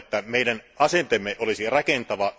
Toivon, että meidän asenteemme olisi rakentava.